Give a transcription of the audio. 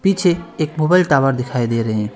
पीछे एक मुग़ल टावर दिखाई दे रहे हैं।